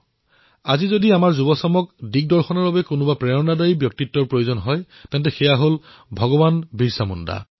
আজি যদি আমাৰ তৰুণ প্ৰজন্মৰ দিশ প্ৰদৰ্শনৰ বাবে কোনো প্ৰেৰণাদায়ী ব্যক্তিত্বৰ প্ৰয়োজন আছে তেন্তে তেওঁ হল ভগৱান বিৰছা মুণ্ডা